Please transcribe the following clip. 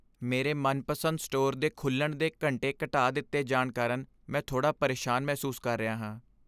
ਮੇਰੇ ਮਨਪਸੰਦ ਸਟੋਰ ਦੇ ਖੁੱਲਣ ਦੇ ਘੰਟੇ ਘਟਾ ਦਿੱਤੇ ਜਾਣ ਕਾਰਨ ਮੈਂ ਥੋੜਾ ਪਰੇਸ਼ਾਨ ਮਹਿਸੂਸ ਕਰ ਰਿਹਾ ਹਾਂ।